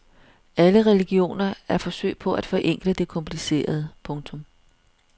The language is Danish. Alle religioner er forsøg på at forenkle det komplicerede. punktum